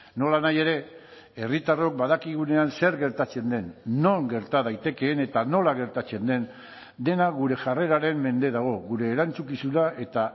nolanahi ere herritarrok badakigunean zer gertatzen den non gerta daitekeen eta nola gertatzen den dena gure jarreraren mende dago gure erantzukizuna eta